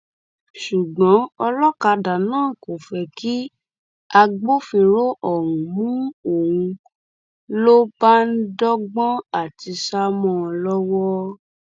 ṣùgbọn ọlọkadà náà kò fẹ kí agbófinró ọhún mú òun ń lọ bá ń dọgbọn àti sá mọ ọn lọwọ